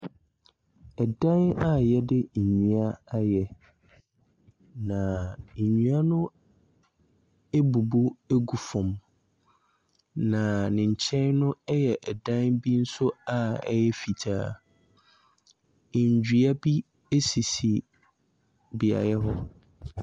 Ɛdan a yɛde nnua ayɛ. Na nnua no ebubu agu fam. Na ne nkyɛn no, ɛyɛ ɛdan nso a ɛyɛ fitaa. Nnua bi esisi beaeɛ hɔ.